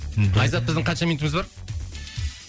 мхм айзат біздің қанша минутымыз бар